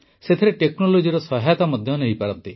ସେଥିରେ ଟେକ୍ନୋଲୋଜିର ସହାୟତା ମଧ୍ୟ ନେଇପାରନ୍ତି